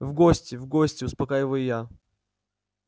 в гости в гости успокаиваю его я